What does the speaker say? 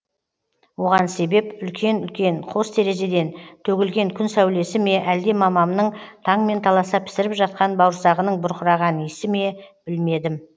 оған себеп үлкен үлкен қос терезеден төгілген күн сәулесі ме әлде мамамның таңмен таласа пісіріп жатқан бауырсағының бұрқыраған иісі ме білмедім